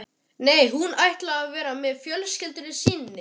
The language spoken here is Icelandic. Nei, hún ætlar að vera með fjölskyldu sinni.